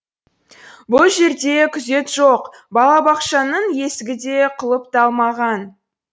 бұл жерде күзет жоқ балабақшаның есігі де құлыпталмаған